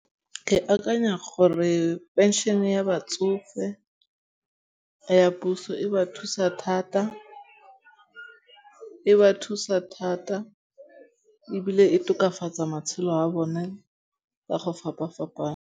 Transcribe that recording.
Ke akanya gore pension ya batsofe ya puso e ba thusa thata. E ba thusa thata ebile e tokafatsa matshelo a bone ka go fapa-fapana.